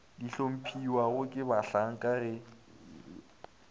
di hlomphiwago ke bahlanka ge